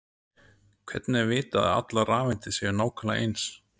hvernig er vitað að allar rafeindir séu nákvæmlega eins